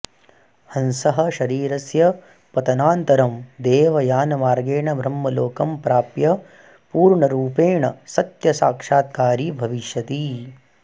हंसः शरीरस्य पतनान्तरं देवयानमार्गेण ब्रह्मलोकं प्राप्य पूर्णरूपेण सत्यसाक्षात्कारी भविष्यति